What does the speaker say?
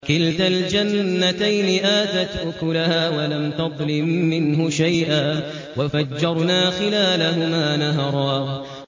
كِلْتَا الْجَنَّتَيْنِ آتَتْ أُكُلَهَا وَلَمْ تَظْلِم مِّنْهُ شَيْئًا ۚ وَفَجَّرْنَا خِلَالَهُمَا نَهَرًا